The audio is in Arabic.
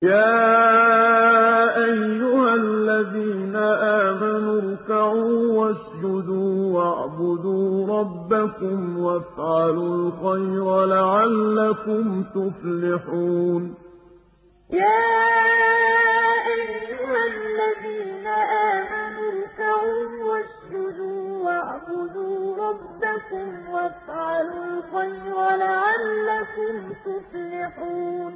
يَا أَيُّهَا الَّذِينَ آمَنُوا ارْكَعُوا وَاسْجُدُوا وَاعْبُدُوا رَبَّكُمْ وَافْعَلُوا الْخَيْرَ لَعَلَّكُمْ تُفْلِحُونَ ۩ يَا أَيُّهَا الَّذِينَ آمَنُوا ارْكَعُوا وَاسْجُدُوا وَاعْبُدُوا رَبَّكُمْ وَافْعَلُوا الْخَيْرَ لَعَلَّكُمْ تُفْلِحُونَ ۩